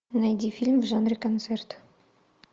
найди фильм в жанре концерт